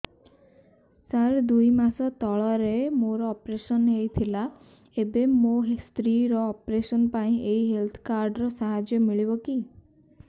ସାର ଦୁଇ ମାସ ତଳରେ ମୋର ଅପେରସନ ହୈ ଥିଲା ଏବେ ମୋ ସ୍ତ୍ରୀ ର ଅପେରସନ ପାଇଁ ଏହି ହେଲ୍ଥ କାର୍ଡ ର ସାହାଯ୍ୟ ମିଳିବ କି